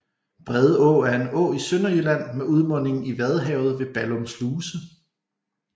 Brede Å er en å i Sønderjylland med udmunding i Vadehavet ved Ballum Sluse